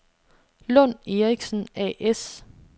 Lund & Erichsen A/S